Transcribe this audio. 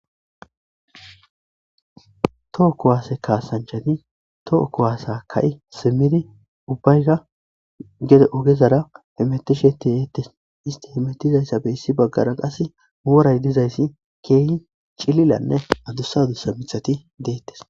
toho kuwaase kaasanchati toho kuwaasa ka7i simidi ubbayka gede ogezara hemetisheti heettes isti hemettizayssa beyssi baggara qas wooray dizayssi keeyi cililanne adussa dusa mithati deettes